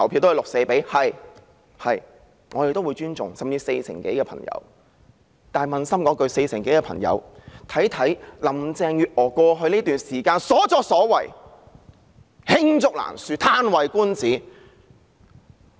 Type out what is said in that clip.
但是，撫心自問，這四成多選民應該看看林鄭月娥在過去一段時間的所作所為，實在是罄竹難書，"嘆為觀止"。